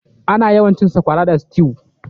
Ana yawancin cin sakwara da stew.